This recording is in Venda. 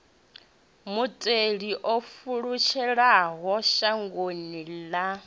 mutheli o pfulutshelaho shangoni ḽa